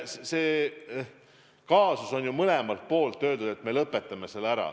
Aga on ju mõlemalt poolt öeldud, et me lõpetame selle ära.